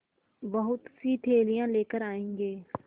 बहुतसी थैलियाँ लेकर आएँगे